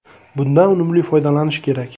Bundan unumli foydalanish kerak.